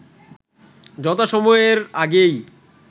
যথাসময়ের আগেই